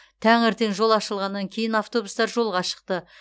таңертең жол ашылғаннан кейін автобустар жолға шықты